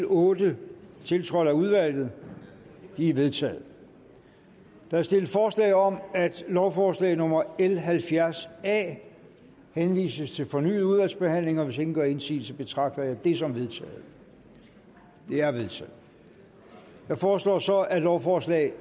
otte tiltrådt af udvalget de er vedtaget der stilles forslag om at lovforslag nummer l halvfjerds a henvises til fornyet udvalgsbehandling og hvis ingen gør indsigelse betragter jeg det som vedtaget det er vedtaget jeg foreslår så at lovforslag